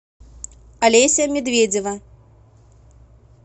олеся медведева